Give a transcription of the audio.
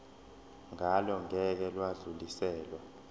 ngalo ngeke lwadluliselwa